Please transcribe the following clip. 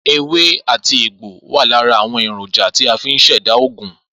Ewé àti egbò wà lára àwon èrònja tí a fi n ṣẹ̀dá ògùn